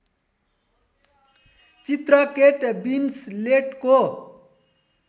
चित्र केट विन्सलेटको